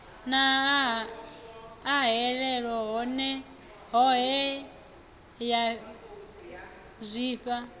na ahelelo hohe ya zwifhao